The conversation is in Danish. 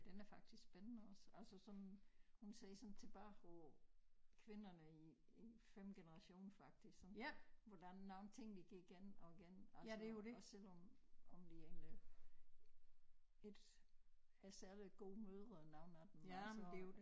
Den er faktisk spændende også altså sådan hun ser sådan tilbage på kvinderne i i 5 generation faktisk sådan hvor der er nogle ting de gik igen og igen og så også selvom om de egentlig ikke er særlig gode mødre nogen af dem altså